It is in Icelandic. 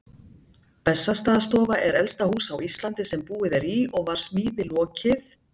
Bessastaðastofa er elsta hús á Íslandi sem búið er í og var smíði lokið